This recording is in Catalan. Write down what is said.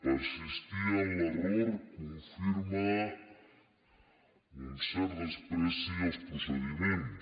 persistir en l’error confirma un cert menyspreu als procediments